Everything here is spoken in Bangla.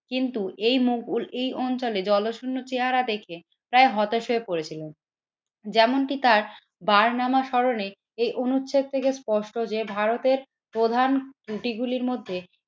কিন্তু এই মুঘল এই অঞ্চলে জলশূন্য চেহারা দেখে প্রায় হতাশ হয়ে পড়েছিল। যেমনটি তার বারনামা স্মরণে এই অনুচ্ছেদ থেকে স্পষ্ট যে ভারতের প্রধান ত্রুটি গুলির মধ্যে